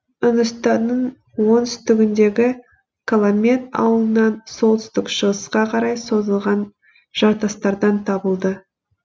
үндістанның оңтүстігіндегі калламед ауылынан солтүстік шығысқа қарай созылған жартастардан табылды